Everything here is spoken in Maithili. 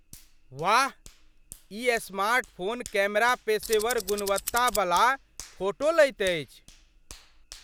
वाह! ई स्मार्टफोन कैमरा पेशेवर गुणवत्ता बला फोटो लैत अछि।